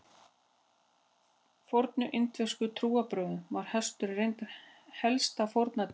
Í fornum indverskum trúarbrögðum var hesturinn reyndar helsta fórnardýrið.